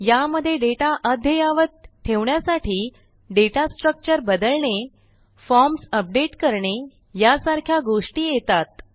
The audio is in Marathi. यामधे डेटा अद्ययावत ठेवण्यासाठी दाता स्ट्रक्चर बदलणे फॉर्म्स अपडेट करणे यासारख्या गोष्टी येतात